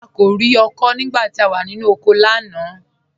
À kò rí hòé nígbà tí à wà nínu oko lánà.